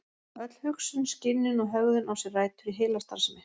Öll hugsun, skynjun og hegðun á sér rætur í heilastarfsemi.